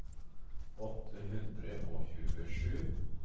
åtte hundre og tjuesju